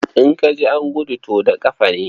In ka ji an gudu, to da ƙafa ne.